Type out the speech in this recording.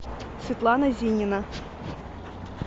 светлана зинина